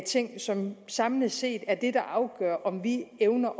ting som samlet set er det der afgør om vi evner